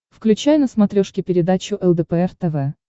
включай на смотрешке передачу лдпр тв